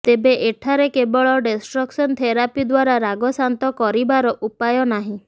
ତେବେ ଏଠାରେ କେବଳ ଡେଷ୍ଟ୍ରକସନ ଥେରାପି ଦ୍ୱାରା ରାଗ ଶାନ୍ତ କରିବାର ଉପାୟ ନାହିଁ